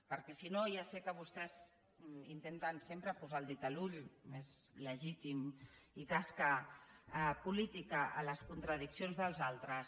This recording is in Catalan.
perquè si no ja sé que vostès intenten sempre posar el dit a l’ull és legítim i tasca política a les contradiccions dels altres